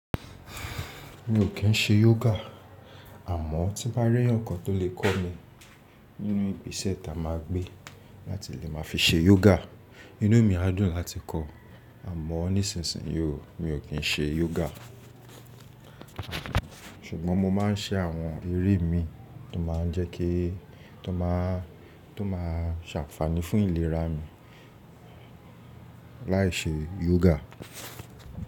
Mi ò kí ń ṣe yoga, àmọ́ tí mbá rí eyan kan tó lè kọ́ mi nínú ìgbésẹ̀ ta máa gbé láti lè máa fi ṣe yoga. Inú mi á dùn láti kọ́, àmọ́ nísinsìnyí mi ò kí ń ṣe yoga. Ṣùgbọ́n mo máa ń ṣe àwọn eré mi tó máa ń jẹ́ kí, tó máa, tó máa ṣàfààní fún ìlera mi láì ṣe yoga.